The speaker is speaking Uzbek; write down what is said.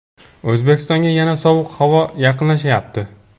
O‘zbekistonga yana sovuq havo yaqinlashyapti.